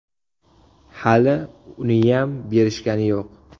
Hali uniyam berishgani yo‘q.